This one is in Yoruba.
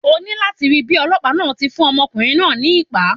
O ní láti rí bíi Ọlọ́pàá náà ti ń fún ọmọkùnrin náà ní ìpá.